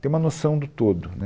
Ter uma noção do todo, né?